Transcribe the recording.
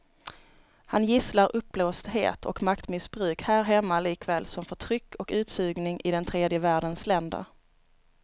Han gisslar uppblåsthet och maktmissbruk här hemma likaväl som förtryck och utsugning i den tredje världens länder.